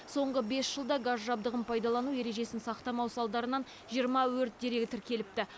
соңғы бес жылда газ жабдығын пайдалану ережесін сақтамау салдарынан жиырма өрт дерегі тіркеліпті